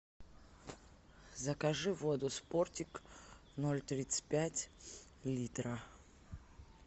закажи воду спортик ноль тридцать пять литра